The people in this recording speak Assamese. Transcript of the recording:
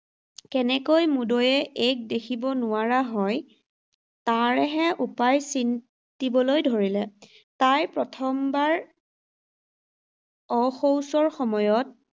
কেনেকৈ মুদৈয়ে এইক দেখিব নোৱাৰা হয, তাৰহে উপায় চিন্তিবলৈ ধৰিলে। তাইৰ প্ৰথমবাৰ অশৌচৰ সময়ত